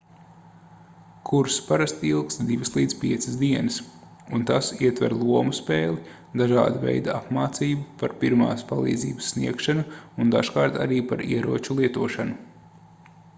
kurss parasti ilgst 2-5 dienas un tas ietver lomu spēli dažāda veida apmācību par pirmās palīdzības sniegšanu un dažkārt arī par ieroču lietošanu